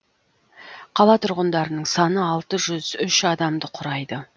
қала тұрғындарының саны алты жүз үш адамды құрайды